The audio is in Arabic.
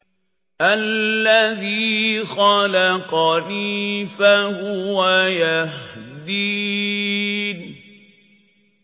الَّذِي خَلَقَنِي فَهُوَ يَهْدِينِ